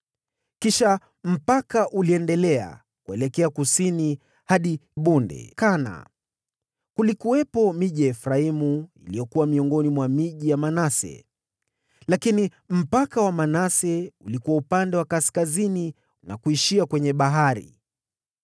Kisha mpaka ule uliendelea kuelekea kusini hadi Bonde la Kana. Kulikuwepo miji ya Efraimu iliyokuwa miongoni mwa miji ya Manase, lakini mpaka wa Manase ulikuwa upande wa kaskazini wa lile bonde na kuishia kwenye bahari.